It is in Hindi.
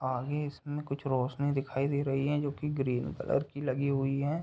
आगे इसमें कुछ रोशनी दिखाई दे रही है। जो कि ग्रीन कलर की लगी हुई है।